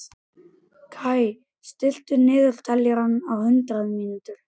Kaj, stilltu niðurteljara á hundrað mínútur.